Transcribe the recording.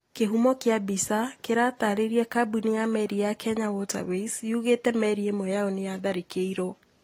Kĩhumo kia mbica kĩratarĩria Kambuni ya meri ya kenya waterways yugite merĩ ĩmwe yao nĩyatharĩkĩirwo,